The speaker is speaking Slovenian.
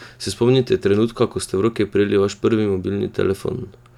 Se spomnite trenutka, ko ste v roke prijeli vaš prvi mobilni telefon?